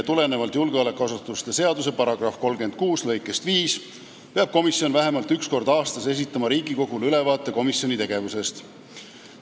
Tulenevalt julgeolekuasutuste seaduse § 36 lõikest 5 peab komisjon vähemalt üks kord aastas esitama Riigikogule ülevaate komisjoni tegevusest.